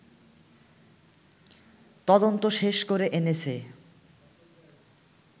তদন্ত শেষ করে এনেছে